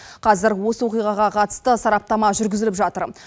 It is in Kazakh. қазір осы оқиғаға қатысты сараптама жүргізіліп жатыр